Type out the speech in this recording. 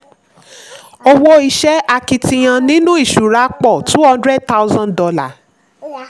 owó iṣẹ́ akitiyan nínú ìṣura pọ̀: two hundred thousand dollar.